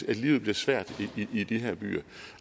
at livet bliver svært i de her byer